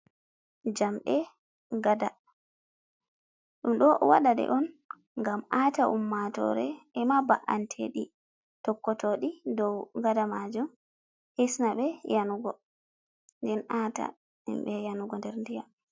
Jamɗe gaɗa, ɗum ɗo waɗa ɗe on gam ata ummatore e ma ba’antedi tokko toɗi daw gada majum hisnaɓe yenugo, den ata himɓe yenugo nder ndiyam.